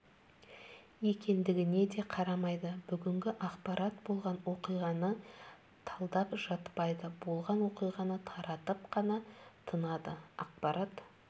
екендігіне де қарамайды бүгінгі ақпарат болған оқиғаны талдап жатпайды болған оқиғаны таратып қана тынады ақпарат